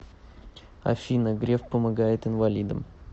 афина греф помогает инвалидам